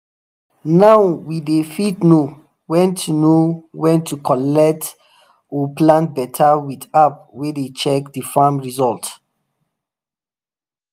now we dey fit know when to know when to collect oor plant better with app way dey check the farm result.